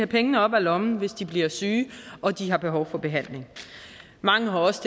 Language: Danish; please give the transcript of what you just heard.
penge op af lommen hvis de bliver syge og de har behov for behandling mange har også